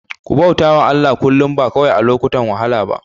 Ku bauta wa Allah kullum, ba kawai a lokutan wahala ba.